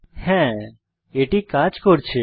হ্যাঁ এটি কাজ করছে